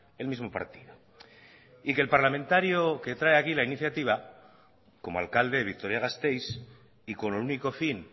el mismo partido y que el parlamentario que trae aquí la iniciativa como alcalde de vitoria gasteiz y con el único fin